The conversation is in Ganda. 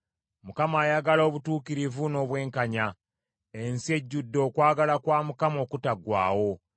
Mukama ayagala obutuukirivu n’obwenkanya. Ensi ejjudde okwagala kwa Mukama okutaggwaawo.